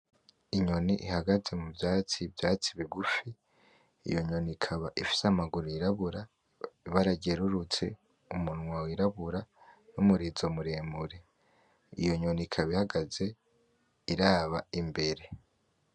Inyoni ihagaze mu vyatsi , ivyatsi bigufi iyo nyoni ikaba ifise amaguru yirabura ibara ryerurutse umunwa w,irabura numurizo muremure . Iyo nyoni ikaba ihagaze iraba imbere .